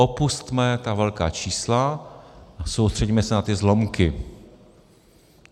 Opusťme ta velká čísla a soustřeďme se na ty zlomky.